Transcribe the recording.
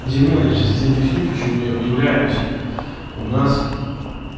демон я сейчас тебе объясню почему я удивляюсь у нас